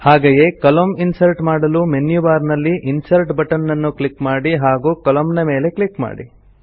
ಹಾಗೆಯೇ ಕಾಲಮ್ನ ಇನ್ಸರ್ಟ್ ಮಾಡಲು ಮೆನ್ಯು ಬಾರ್ ನಲ್ಲಿ ಇನ್ಸರ್ಟ್ ಬಟನ್ ನ್ನು ಕ್ಲಿಕ್ ಮಾಡಿ ಹಾಗೂ ಕಾಲಮ್ನ ಮೇಲೆ ಕ್ಲಿಕ್ ಮಾಡಿ